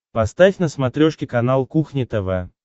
поставь на смотрешке канал кухня тв